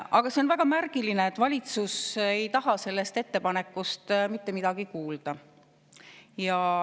Aga see on väga märgiline, et valitsus ei taha sellest ettepanekust mitte midagi kuulda.